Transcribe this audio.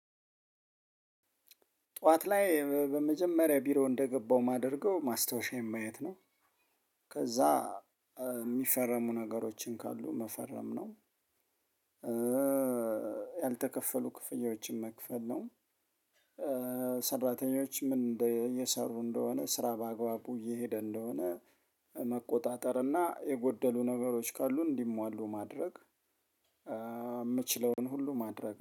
ጠዋት ላይ በመጀመሪያ ቢሮ እንደገባው ማደርገው ማስታወሻዬን ማየት ነው ከዛ የሚፈረሙ ነገሮችን ካሉ መፈረም ነው። ያልተከፈሉ ክፍያዎችን መክፈል ነው። ሰራተኞች ምን እንደ እየሰሩ እንደሆነ ስራ በአግባቡ እየሄደ እንደሆነ መቆጣጠር እና የጎደሉ ነገሮች ካሉ እንዲሟሉ ማድረግ የምችለውን ሁሉ ማድረግ